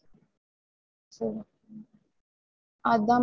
உம் okay எனக்கு அது ஒரு quotation மாதிரி send பண்ணிடுங்க